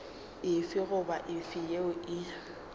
efe goba efe yeo e